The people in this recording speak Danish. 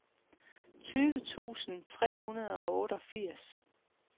tyve tusind tre hundrede og otteogfirs